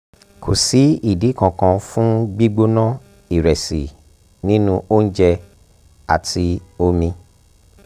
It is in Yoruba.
kò sí ìdí kankan fún gbígbóná ìrẹsì nínú oúnjẹ àti omi